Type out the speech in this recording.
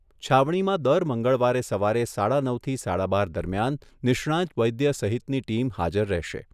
છાવણીમાં દર મંગળવારે સવારે સાડા નવથી સાડા બાર દરમિયાન નિષ્ણાંત વૈદ્ય સહિતની ટીમ હાજર રહેશે.